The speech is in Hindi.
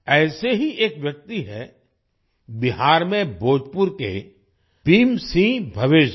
ऐसे ही एक व्यक्ति हैं बिहार में भोजपुर के भीम सिंह भवेश जी